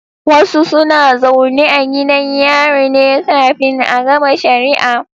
Wasu suna zaune a gidan yari ne kafin a gama shari'a